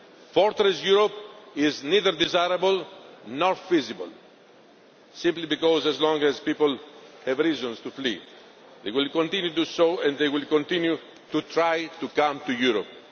Fortress Europe is neither desirable nor feasible, simply because as long as people have reasons to flee, they will continue to do so, and they will continue to try to come to Europe.